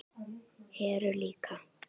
Heru líka.